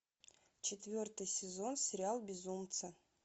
четвертый сезон сериал безумцы